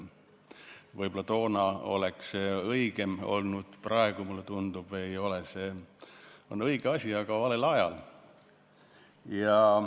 Võib-olla toona oleks see õigem olnud, praegu, mulle tundub, on see õige asi, aga valel ajal.